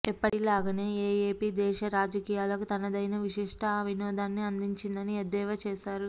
ఎప్పటిలాగే ఏఏపీ దేశ రాజకీయాలకు తనదైన విశిష్ట వినోదాన్ని అందించిందని ఎద్దేవా చేశారు